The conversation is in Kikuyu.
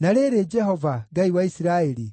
“Na rĩrĩ, Jehova, Ngai wa Isiraeli,